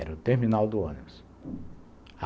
Era o terminal do ônibus.